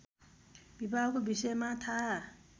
विवाहको विषयमा थाहा